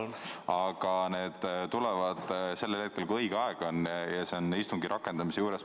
Aga need tulevad sellel hetkel, kui õige aeg on, ja see on istungi rakendamise juures.